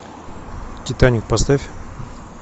титаник поставь